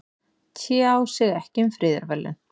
Tjá sig ekki um friðarverðlaun